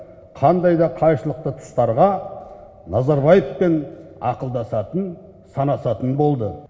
қандай да қайшылықты тұстарға назарбаевпен ақылдасатын санасатын болды